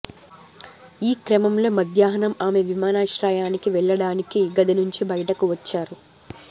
ఈ క్రమంలో మధ్యాహ్నం ఆమె విమానాశ్రయానికి వెళ్లడానికి గది నుంచి బయటకు వచ్చారు